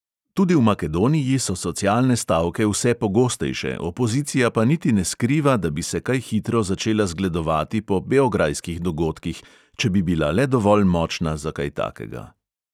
Tudi v makedoniji so socialne stavke vse pogostejše, opozicija pa niti ne skriva, da bi se kaj hitro začela zgledovati po beograjskih dogodkih, če bi bila le dovolj močna za kaj takega.